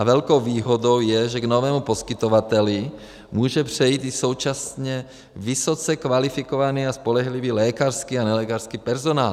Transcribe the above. A velkou výhodou je, že k novému poskytovateli může přejít i současně vysoce kvalifikovaný a spolehlivý lékařský a nelékařský personál.